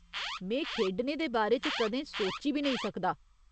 में खेढने दे बारे च कदें सोची बी नेईं सकदा।